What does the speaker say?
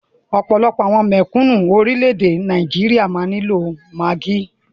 Ọ̀pọ̀lọpọ̀ àwọn mèkúnù orilẹ ede Nigeria máa ni lo Maggi.